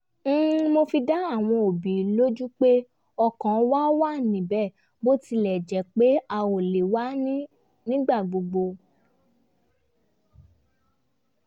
mo fi dá àwọn òbí lójú pé ọkàn wa wá níbẹ̀ bó tilẹ̀ jẹ́ pé a ò lè wá nígbà gbogbo